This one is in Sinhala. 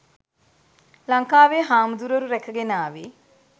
ලංකාවේ හාමුදුරුවරු රැකගෙන ආවේ